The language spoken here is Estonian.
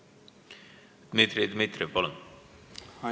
Dmitri Dmitrijev, palun!